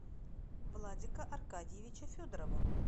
владика аркадьевича федорова